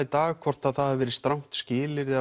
dag hvort að það hafi verið strangt skilyrði